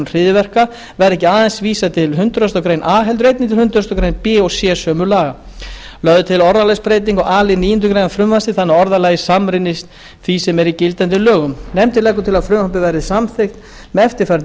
hryðjuverka verði ekki aðeins vísað til hundrað greinar a heldur einnig til hundrað greinar b og c sömu laga lögð er til orðalagsbreyting á a lið níundu grein frumvarpsins þannig að orðalagið samrýmist því sem er í gildandi lögum nefndin leggur til að frumvarpið verði samþykkt með eftirfarandi